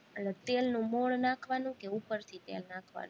એટલે તેલનું મોણ નાખવાનું કે ઉપરથી તેલ નાખવાનું?